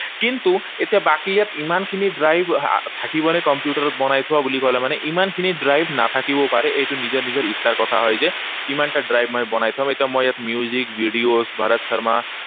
কিন্তু এতিয়া বাকী ইয়াত ইমানখিনি drive থাকিবনে। কম্পিউটাৰত বনাই থোৱা বুলি কলে মানে ইমানখিনি drive নাথাকিবও পাৰে। এইটো নিজৰ নিজৰ ইচ্ছাৰ কথা হয় যে কিমানটা drive মই বনাই থম। এতিয়া মই ইয়াত মই music, videos ভৰত শৰ্মা